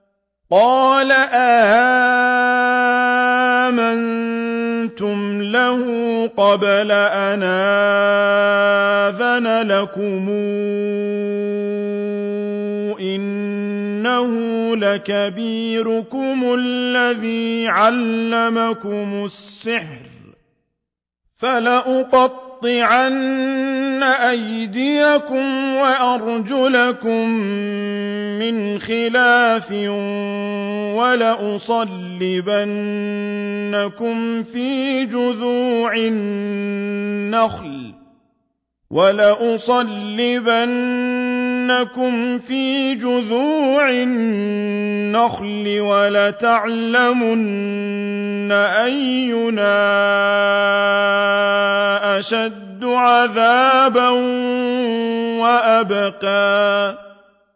قَالَ آمَنتُمْ لَهُ قَبْلَ أَنْ آذَنَ لَكُمْ ۖ إِنَّهُ لَكَبِيرُكُمُ الَّذِي عَلَّمَكُمُ السِّحْرَ ۖ فَلَأُقَطِّعَنَّ أَيْدِيَكُمْ وَأَرْجُلَكُم مِّنْ خِلَافٍ وَلَأُصَلِّبَنَّكُمْ فِي جُذُوعِ النَّخْلِ وَلَتَعْلَمُنَّ أَيُّنَا أَشَدُّ عَذَابًا وَأَبْقَىٰ